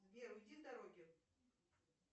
сбер уйди с дороги